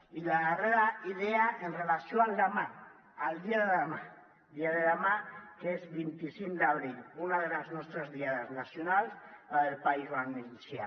i la darrera idea en relació amb demà al dia de demà que és vint cinc d’abril una de les nostres diades nacionals la del país valencià